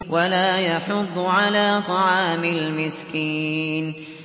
وَلَا يَحُضُّ عَلَىٰ طَعَامِ الْمِسْكِينِ